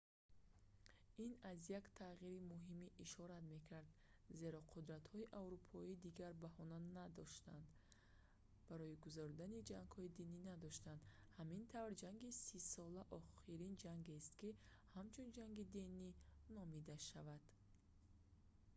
ин аз як тағйири муҳиме ишорат мекард зеро қудтратҳои аврупоӣ дигар баҳона барои гузаронидани ҷангҳои динӣ намедоштанд ҳамин тавр ҷанги сисола охирин ҷангест ки ҳамчун ҷанги динӣ номида шавад